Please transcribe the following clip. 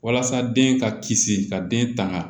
Walasa den ka kisi ka den tanga